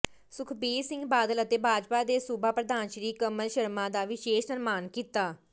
ਸੁਖਬੀਰ ਸਿੰਘ ਬਾਦਲ ਅਤੇ ਭਾਜਪਾ ਦੇ ਸੂਬਾ ਪ੍ਰਧਾਨ ਸ੍ਰੀ ਕਮਲ ਸ਼ਰਮਾ ਦਾ ਵਿਸ਼ੇਸ਼ ਸਨਮਾਨ ਕੀਤਾ